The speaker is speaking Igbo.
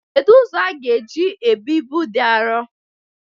Kedu ụzọ aga eji ebu ibu dị arọ?